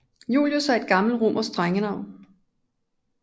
Julius er et gammelt romersk drengenavn